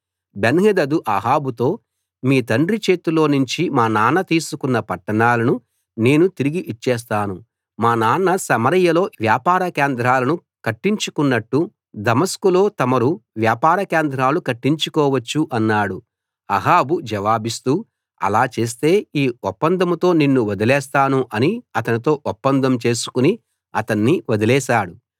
బెన్హదదు అహాబుతో మీ తండ్రి చేతిలోనుంచి మా నాన్న తీసుకున్న పట్టణాలను నేను తిరిగి ఇచ్చేస్తాను మా నాన్న సమరయలో వ్యాపార కేంద్రాలను కట్టించుకున్నట్టు దమస్కులో తమరు వ్యాపార కేంద్రాలు కట్టించుకోవచ్చు అన్నాడు అహాబు జవాబిస్తూ అలా చేస్తే ఈ ఒప్పందంతో నిన్ను వదిలేస్తాను అని అతనితో ఒప్పందం చేసుకుని అతన్ని వదిలేశాడు